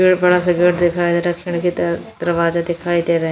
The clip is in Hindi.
बड़ा सा गेट दिखाया जा रहा है खिड़की दरवाजा दिखाई दे रहे हैं --